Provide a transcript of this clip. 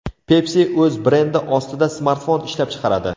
Pepsi o‘z brendi ostida smartfon ishlab chiqaradi.